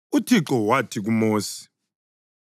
UThixo wathi kuMosi,